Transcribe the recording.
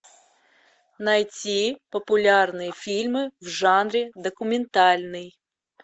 найти популярные фильмы в жанре документальный